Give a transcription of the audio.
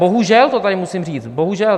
Bohužel to tady musím říct, bohužel.